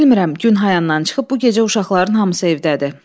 Bilmirəm, günhayandan çıxıb, bu gecə uşaqların hamısı evdədir.